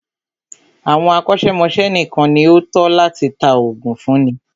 Àwọn akọ́ṣẹ́mọ́ṣẹ́ nìkan ní o tọ́ láti tá oògùn fúnni.